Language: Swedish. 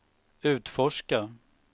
utforska